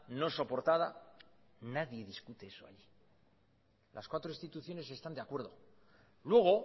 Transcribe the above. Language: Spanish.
no soportada nadie discute eso las cuatro instituciones están de acuerdo luego